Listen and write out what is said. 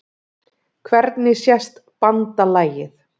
Hvernig sést BANDALAGIÐ?